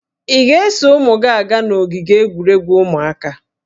Ị ga-eso ụmụ gị aga n'ogige egwuregwu ụmụaka?